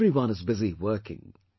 Everyone is busy working